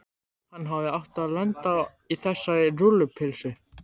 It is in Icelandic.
Hann hefði átt að lenda á þessari rúllupylsu.